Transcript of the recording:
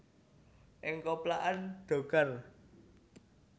Ing koplakan dhokar